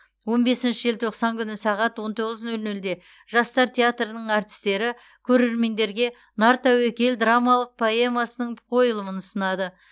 он бесінші желтоқсан күні сағат он тоғыз нөл нөлде жастар театрының әртістері көрермендерге нартәуекел драмалық поэмасының қойылымын ұсынады